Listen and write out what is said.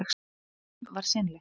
Ferðin var seinleg.